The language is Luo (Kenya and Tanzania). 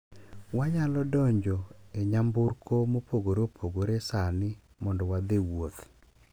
Wanyalo donjo e nyamburko mopogore opogore sani mondo wadhi wuoth